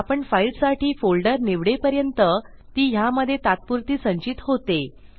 आपण फाईलसाठी फोल्डर निवडेपर्यंत ती ह्यामधे तात्पुरती संचित होते